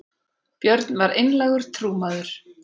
björn var einlægur trúmaður